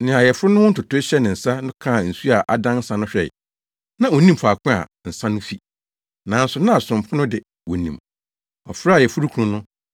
Nea ayeforo no ho ntotoe hyɛ ne nsa no kaa nsu a adan nsa no hwɛe. Na onnim faako a nsa no fi, nanso na asomfo no de, wonim. Ɔfrɛɛ ayeforokunu no